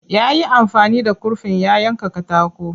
Yayi amfani da kurfin ya yanka katako.